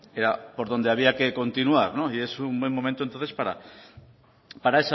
era por donde había que continuar y es un buen momento entonces para